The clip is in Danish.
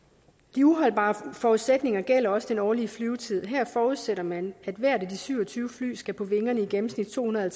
de uholdbare forudsætninger gælder også den årlige flyvetid her forudsætter man at hvert af de syv og tyve fly skal på vingerne i gennemsnit to hundrede og